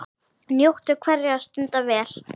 Njóttu hverrar stundar vel.